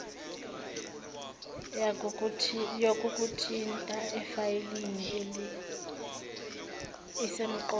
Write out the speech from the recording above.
yokukuthinta efayelini isemqoka